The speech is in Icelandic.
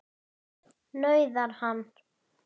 nauðar hann.